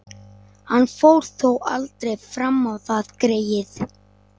Hann fór þó aldrei fram á það, greyið.